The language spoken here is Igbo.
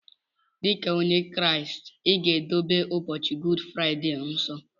Dika onye kraist iga edobe ụbọchi gud friday nsọ!!